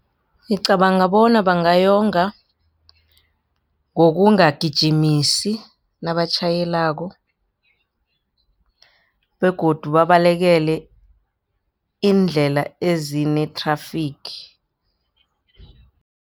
Ngicabanga bona bangayonga ngokungagijimisi nabatjhayelako begodu babalekele iindlela ezine-traffic.